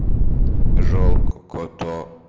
жалко кота